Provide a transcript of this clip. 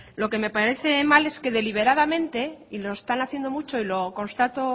lo que me parece mal es que deliberadamente y lo están haciendo mucho y lo constato